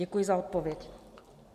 Děkuji za odpověď.